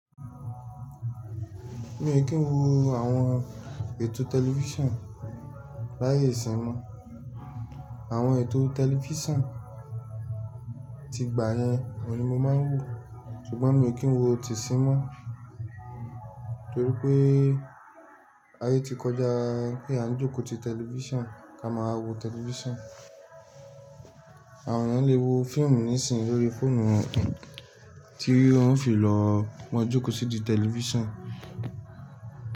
Mi ò kí n wo àwọn ètò tẹlifísàn báyìí sínmọ́. Àwọn ètò tẹlifísàn ti gbà yẹn ni mo máa ń wò, ṣùgbọ́n mi ò kí n wo ti i sín mọ́ torí pé a yí ti kọjá pé a ń jókòó ti tẹlifísàn ká máa wò tẹlifísàn. Àwọn ènìyàn lè wo fíìmù nísìnyí lórí fóònù wọn tí wọ́n fi lọ mo jókòó sídi tẹlifísàn.